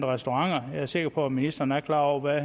restauranter og jeg er sikker på at ministeren er klar over hvad